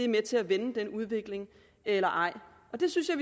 med til at vende den udvikling eller ej det synes jeg